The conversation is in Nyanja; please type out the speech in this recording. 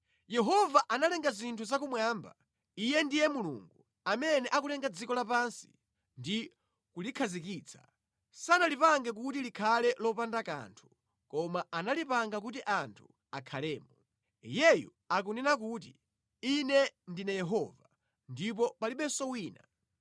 Yehova analenga zinthu zakumwamba, Iye ndiye Mulungu; amene akulenga dziko lapansi, ndi kulikhazikitsa, sanalipange kuti likhale lopanda kanthu, koma analipanga kuti anthu akhalemo. Iyeyu akunena kuti: Ine ndine Yehova, ndipo palibenso wina.